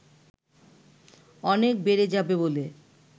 অনেক বেড়ে যাবে বলে